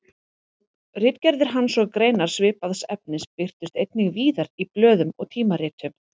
Ritgerðir hans og greinar svipaðs efnis birtust einnig víðar í blöðum og tímaritum.